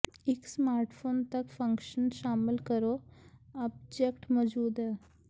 ਇੱਕ ਸਮਾਰਟਫੋਨ ਤੱਕ ਫੰਕਸ਼ਨ ਸ਼ਾਮਲ ਕਰੋ ਆਬਜੈਕਟ ਮੌਜੂਦ ਹੈ